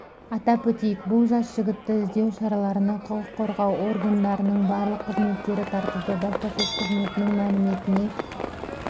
атап өтейік бұл жас жігітті іздеу шараларына құқық қорғау органдарының барлық қызметтері тартылды баспасөз қызметінің мәліметіне